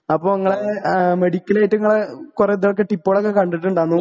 അപ്പൊ ഇങ്ങളെ ആ മെഡിക്കലായിട്ടിങ്ങളെ കൊറേ ഇതൊക്കെ ടിപ്പാളൊക്കെ കണ്ടിട്ടിണ്ടാന്നു.